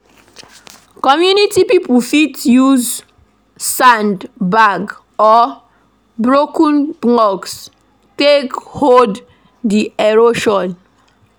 Community pipo fit use sand bag or broken blocks take hold di erosion